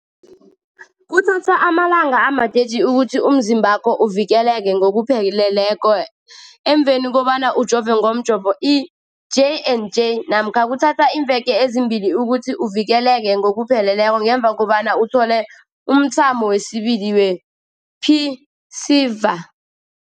Kuthatha amalanga ama-30 ukuthi umzimbakho uvikeleke ngokupheleleko emveni kobana ujove ngomjovo i-J and J namkha kuthatha iimveke ezimbili ukuthi uvikeleke ngokupheleleko ngemva kobana uthole umthamo wesibili wePfizer.